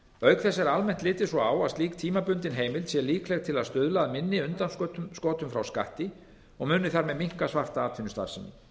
auk þess er almennt litið svo á að slík tímabundin heimild sé líkleg til að stuðla að minni undanskotum frá skatti og muni þar með minnka svarta atvinnustarfsemi